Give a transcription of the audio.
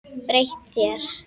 Breytt þér.